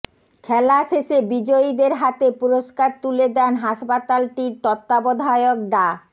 খেলা শেষে বিজয়ীদের হাতে পুরস্কার তুলে দেন হাসপাতালটির তত্ত্বাবধায়ক ডা